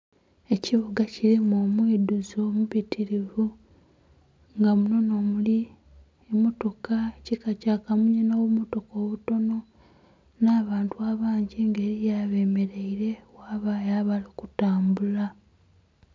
Ekibuga kirimu omwidhuzo omubitirivu nga muno n'omuli emmotoka ekika kyakamunye n'obummotaka obutono n'abantu abangi nga eriyo abeemeraire ghabayo abali kutambula.